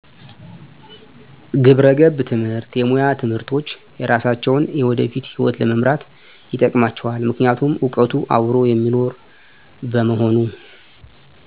ግብረገብ ትምህርት የሙያ ትምህርቶች የሰራሳቸውን የወደፊት ሕይወት ለመምራት ይጠቅማቸዋል ምክንያቱም እውቀቱ አብሮ የሚኖር በመሆኑ